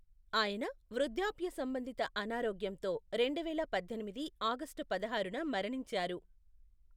ఆయన వృద్ధాప్య సంబంధిత అనారోగ్యంతో రెండువేల పద్దెనిమిది ఆగస్టు పదహారున మరణించారు.